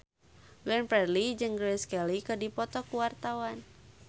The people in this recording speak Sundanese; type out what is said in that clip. Glenn Fredly jeung Grace Kelly keur dipoto ku wartawan